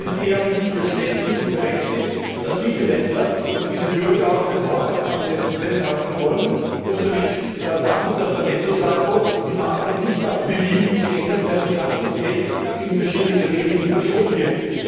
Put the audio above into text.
Es ist daher für mich verständlich und berechtigt, dass diese Länder und diese Bürger an den Haushaltsansätzen festhalten wollen, und daran, dass der Nettosaldo im Nachhinein nicht nach Belieben geändert werden kann und dass Geld nicht in verschiedene Kanäle verschoben wird.